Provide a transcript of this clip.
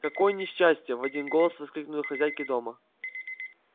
какое несчастье в один голос воскликнули хозяйки дома